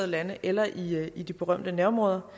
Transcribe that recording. lande eller i i de berømte nærområder